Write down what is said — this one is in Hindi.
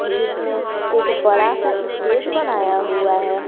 जिसमें एक बड़ा सा स्टेज बनाया हुआ है।